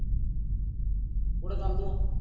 कुठे चालोत